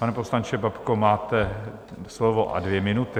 Pane poslanče Babko, máte slovo a dvě minuty.